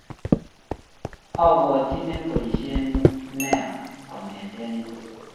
abuatchini boishet neyo kongetee inyee